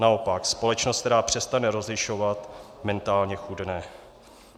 Naopak, společnost, která přestane rozlišovat, mentálně chudne.